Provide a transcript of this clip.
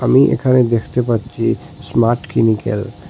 আমি এখানে দেখতে পাচ্ছি স্মার্ট ক্লিনিক্যাল ।